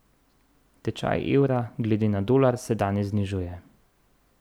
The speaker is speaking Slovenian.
Tečaj evra glede na dolar se danes znižuje.